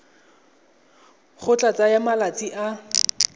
go tla tsaya malatsi a